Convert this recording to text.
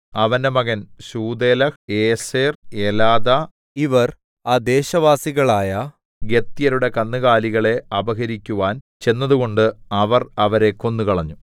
അവന്റെ മകൻ ശൂഥേലഹ് ഏസെർ എലാദാ ഇവർ ആ ദേശവാസികളായ ഗത്യരുടെ കന്നുകാലികളെ അപഹരിക്കുവാൻ ചെന്നതുകൊണ്ട് അവർ അവരെ കൊന്നുകളഞ്ഞു